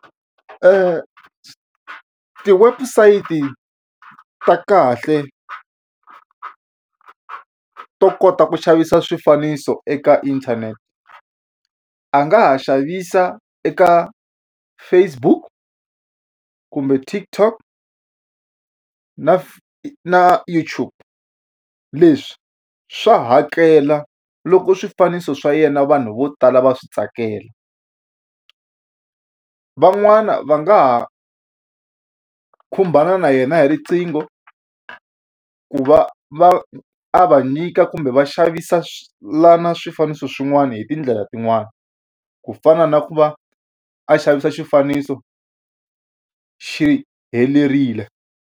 ti-website-i ta kahle to kota ku xavisa swifaniso eka inthanete a nga ha xavisa eka Facebook kumbe TikTok na na YouTube leswi swi hakela loko swifaniso swa yena vanhu vo tala va swi tsakela van'wana va nga ha khumbana na yena hi riqingho ku va va a va nyika kumbe va xavisa la na swifaniso swin'wana hi tindlela tin'wani ku fana na ku va a xavisa xifaniso xi helerile.